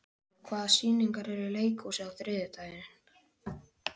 Björnólfur, hvaða sýningar eru í leikhúsinu á þriðjudaginn?